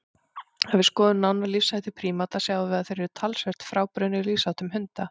Ef við skoðum nánar lífshætti prímata sjáum við að þeir eru talsvert frábrugðnir lífsháttum hunda.